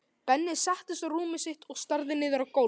Benni settist á rúmið sitt og starði niður á gólfið.